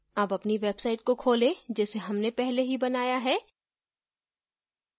अब अपनी website को खोलें जिसे हमने पहले ही बनाया है